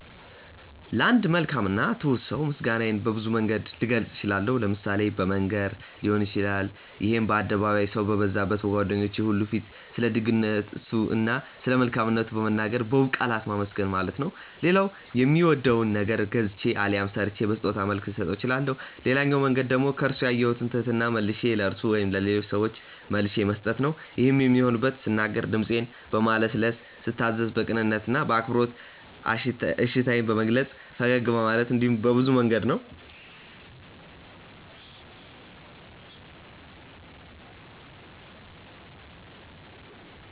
ለአንድ መልካም እና ትሁት ሰው ምስጋናዬን በብዙ መንገድ ልገልጽ እችላለሁ። ለምሳሌ በመንገር ሊሆን ይችላል ይሄም በአደባባይ፣ ሰው በበዛበት፣ በጓደኞቹ ሁሉ ፊት ስለደግነቱ እና ስለመልካምነቱ በመናገር በውብ ቃላት ማመስገን ማለት ነው። ሌላው የሚወደውን ነገር ገዝቼ አሊያም ሰርቼ በስጦታ መልክ ልሰጠው እችላለሁ። ሌላኛው መንገድ ደግሞ ከርሱ ያየሁትን ትህትና መልሼ ለርሱ ወይም ለሌሎች ሰዎች መልሼ መስጠት ነው። ይሄም የሚሆነው ስናገር ድምጼን በማለስለስ፤ ስታዘዝ በቅንነት እና በአክብሮት እሺታዬን በመግለጽ፤ ፈገግ በማለት እንዲሁም በብዙ መንገድ ነው።